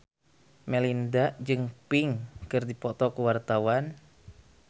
Melinda jeung Pink keur dipoto ku wartawan